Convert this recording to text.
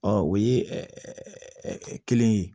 Ɔ o ye kelen ye